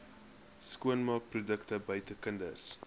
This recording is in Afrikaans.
skoonmaakprodukte buite kinders